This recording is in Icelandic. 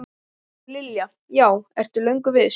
Linda: Já, ertu löngu viss?